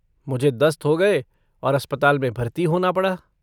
मुझे दस्त हो गये और अस्पताल में भर्ती होना पड़ा।